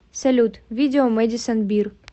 салют видео мэдисон бир